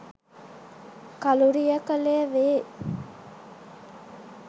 කලුරිය කළේ වේ.